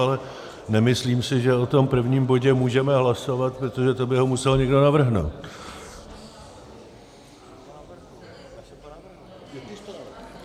Ale nemyslím si, že o tom prvním bodě můžeme hlasovat, protože to by ho musel někdo navrhnout.